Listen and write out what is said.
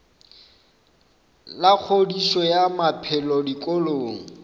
la kgodišo ya maphelo dikolong